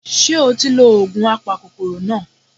Ṣé o ti lo ògùn apakòkòrò náà